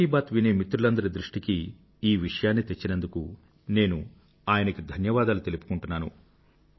మన్ కీ బాత్ వినే మిత్రులందరి దృష్టికీ ఈ విషయాన్ని తెచ్చినందుకు నేను ఆయన గారికి ధన్యవాదాలు తెలుపుకుంటున్నాను